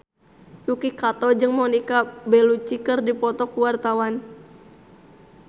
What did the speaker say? Yuki Kato jeung Monica Belluci keur dipoto ku wartawan